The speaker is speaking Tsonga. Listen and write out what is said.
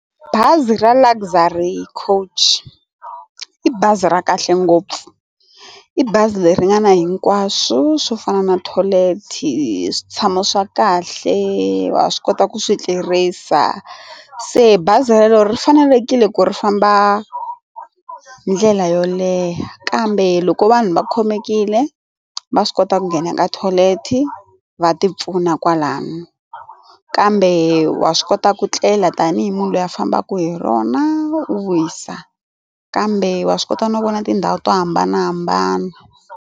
Bazi ra Luxury coach, i bazi ra kahle ngopfu i bazi leri ringana hinkwaswo swo fana na tholethi, switshamo swa kahle wa swi kota ku swi tirhisa se bazi leri fanelekile ku ri famba ndlela yo leha kambe loko vanhu va khomekile va swi kota ku nghena ka tholethi va ti pfuna kwalano kambe wa swi kota ku tlela tanihi munhu loyi a fambaka hi rona u wisa kambe wa swi kota no vona tindhawu to hambanahambana.